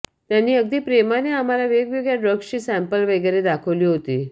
त्यांनी अगदी प्रेमाने आम्हाला वेगवेगळ्या ड्रग्जची सॅम्पल्स वगैरे दाखवली होती